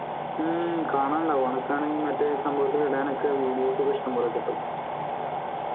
ഹും കാണാൻണ്ടാവും അനക്ക് ആണേ മറ്റേ സംഭവത്തിൽ ഇടാൻ ഒക്കെ ഇഷ്ടം പോലെ videos കിട്ടും